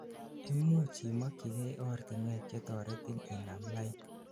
imuch imokyigei ortinwek chetoretin inamlain